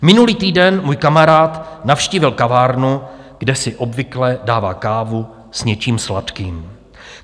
Minulý týden můj kamarád navštívil kavárnu, kde si obvykle dává kávu s něčím sladkým.